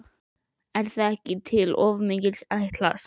Er það ekki til of mikils ætlast?